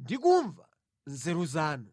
ndi kumamva nzeru zanu!